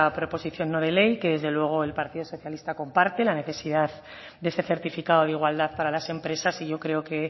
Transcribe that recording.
proposición no de ley que desde luego el partido socialista comparte en la necesidad de ese certificado de igualdad para las empresas y yo creo que